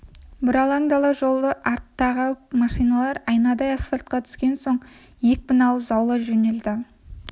бұралаң дала жолы артта қалып машиналар айнадай асфальтқа түскен соң екпін алып заулай жөнелді